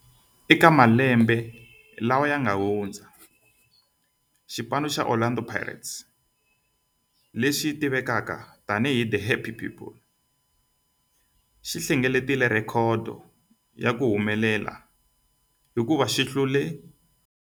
Eka malembe lawa yanga hundza, Orlando Pirates, leyi tivekaka tani hi The Happy People, yi hlengeletile rhekhodo ya ku humelela hikuva yi hlule.